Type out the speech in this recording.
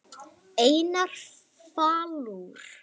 Einar Falur.